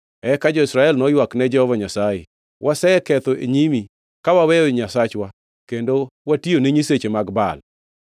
Eka jo-Israel noywak ne Jehova Nyasaye, “Waseketho e nyimi, ka waweyo Nyasachwa kendo watiyone nyiseche mag Baal.”